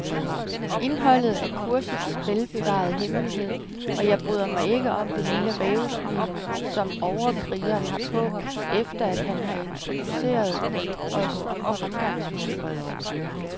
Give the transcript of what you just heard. Indholdet er kursets velbevarede hemmelighed, og jeg bryder mig ikke om det lille rævesmil, som overkrigeren har på, efter han har introduceret os om fremgangsmåden.